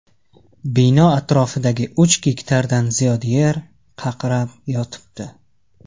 Bino atrofidagi uch gektardan ziyod yer qaqrab yotibdi.